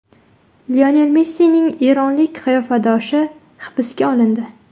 Lionel Messining eronlik qiyofadoshi hibsga olindi.